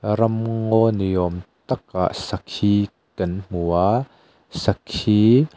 ram ngaw ni awm takah sakhi kan hmu a sakhi--